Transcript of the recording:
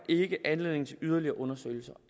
ikke anledning til yderligere undersøgelse